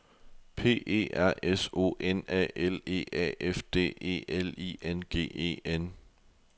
P E R S O N A L E A F D E L I N G E N